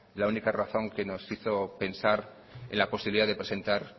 la única razón que nos hizo pensar en la posibilidad de presentar